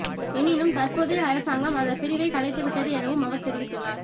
எனினும் தற்போதைய அரசாங்கம் அந்த பிரிவை கலைத்துவிட்டது எனவும் அவர் தெரிவித்துள்ளார்